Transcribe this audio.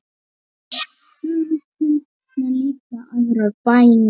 Sum kunna líka aðrar bænir.